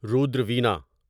Rudra Veena